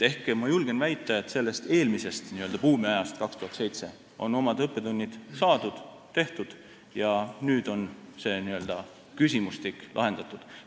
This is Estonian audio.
Ma julgen väita, et sellest eelmisest buumiajast 2007. aastal on oma õppetunnid saadud ja nüüd on see küsimustik lahendatud.